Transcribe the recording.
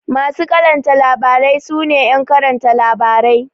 Masu karanta labarai su ne ƴan karanta labarai.